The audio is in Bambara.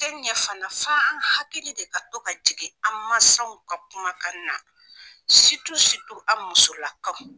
A te ɲɛ fana fo an hakili de ka to ka jigin an masaw ka kuma kan na an musola kaw.